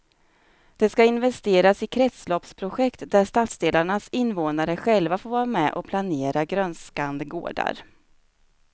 Det ska investeras i kretsloppsprojekt där stadsdelarnas invånare själva får vara med och planera grönskande gårdar.